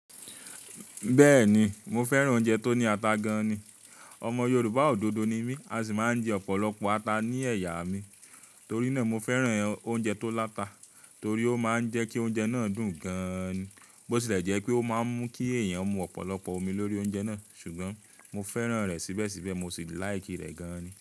Bẹ́ẹ̀ni, mo fẹ́ràn oúnjẹ tó ní ata gan-an ni. Ọmọ Yorùbá òdodo ni mí, a sì máa ń jẹ ọ̀pọ̀lọpọ̀ ata ní ẹ̀yà mi. Torí náà, mo fẹ́ràn oúnjẹ tó láta torí ó máa ń jẹ́ kí oúnjẹ náà dùn gan-an ni. Bó tilẹ̀ jẹ́ pé ó máa ń mú kí èèyàn mú ọ̀pọ̀lọpọ̀ omi lórí oúnjẹ náà, ṣùgbọ́n mo fẹ́ràn rẹ̀ síbẹ̀síbẹ̀, mo sì like rẹ̀ gan-an ni.